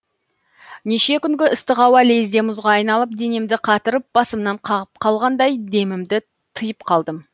неше күнгі ыстық ауа лезде мұзға айналып денемді қатырып басымнан қағып қалғандай демімді тыйып қалдым